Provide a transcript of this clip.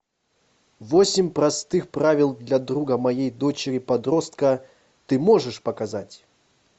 восемь простых правил для друга моей дочери подростка ты можешь показать